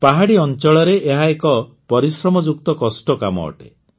ପାହାଡ଼ି ଅଂଚଳରେ ଏହା ଏକ ପରିଶ୍ରମଯୁକ୍ତ କଷ୍ଟ କାମ ଅଟେ